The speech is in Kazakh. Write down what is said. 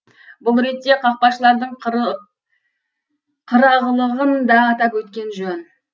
бұл ретте қақпашылардың қырағылығын да атап өткен жөн